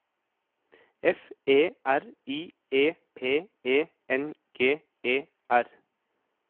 F E R I E P E N G E R